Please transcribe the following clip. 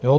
Jo?